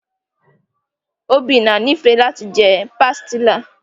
Obinna nifẹ lati jẹ pastilla.